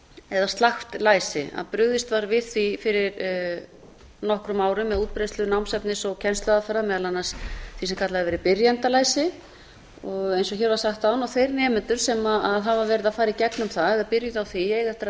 eða slakt læsi að brugðist var við því fyrir nokkrum árum með útbreiðslu námsefnis og kennsluaðferða meðal annars því sem kallað hefur verið byrjendalæsi eins og hér var sagt áðan þeir nemendur sem hafa verið að fara í gegnum það eða byrjað á því og eiga eftir að